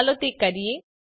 ચાલો તે કરીએ